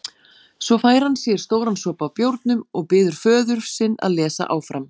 Svo fær hann sér stóran sopa af bjórnum og biður föður sinn að lesa áfram